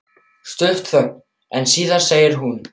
Stutt þögn en síðan segir hún